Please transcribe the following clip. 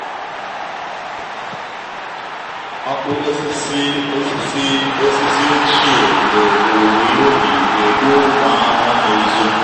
ọkụ osisi osisi osisi ochie mgbe owuwe ihe ubi ga-egbu ụmụ ahụhụ na-ezo.